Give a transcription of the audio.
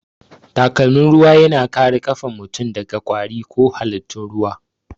Takalmin ruwa yana kare kafan mutum daga kwari ko halittun ruwa